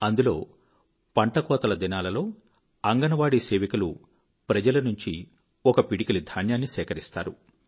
అందులో పంట కోతల దినాలలో అంగన్ వాడీ సేవికలు ప్రజల నుంచి ఒక పిడికిలి ధాన్యాన్ని సేకరిస్తారు